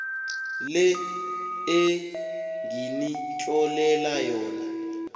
le enginitlolele yona